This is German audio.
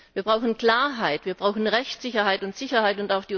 Wir brauchen Klarheit, wir brauchen Rechtssicherheit und Sicherheit.